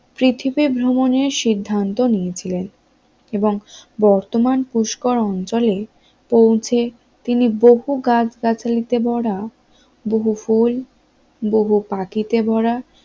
পৃথিবী ভ্রমণের সিদ্ধান্ত নিয়েছিলেন এবং বর্তমান পুষ্কর অঞ্চলে পৌঁছে তিনি বহু গাছ গাছালিতে ভরা বহু ফুল বহু পাখিতে ভরা